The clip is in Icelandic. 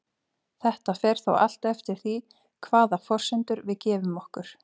Þetta fer þó allt eftir því hvaða forsendur við gefum okkur.